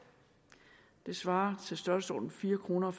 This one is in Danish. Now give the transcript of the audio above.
det svarer til størrelsesordenen fire kroner